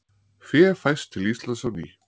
Fé fæst til Íslands á ný